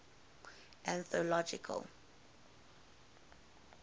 anthological